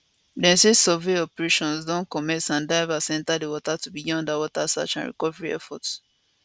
dem say survey operations don commence and divers enta di water to begin underwater search and recovery efforts